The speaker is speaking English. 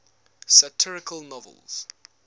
satirical novels